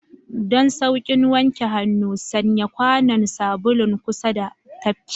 Don sauƙin wanke hannu, sanya kwanon sabulun kusa da tafki.